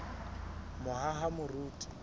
mohahamoriti